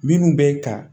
Minnu bɛ ta